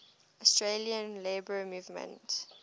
australian labour movement